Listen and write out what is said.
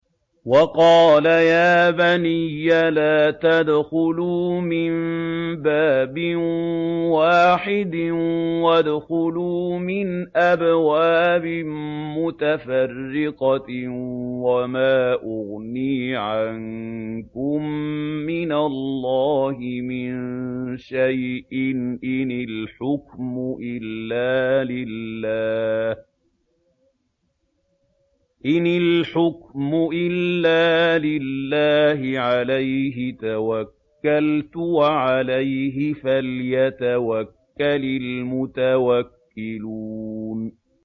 وَقَالَ يَا بَنِيَّ لَا تَدْخُلُوا مِن بَابٍ وَاحِدٍ وَادْخُلُوا مِنْ أَبْوَابٍ مُّتَفَرِّقَةٍ ۖ وَمَا أُغْنِي عَنكُم مِّنَ اللَّهِ مِن شَيْءٍ ۖ إِنِ الْحُكْمُ إِلَّا لِلَّهِ ۖ عَلَيْهِ تَوَكَّلْتُ ۖ وَعَلَيْهِ فَلْيَتَوَكَّلِ الْمُتَوَكِّلُونَ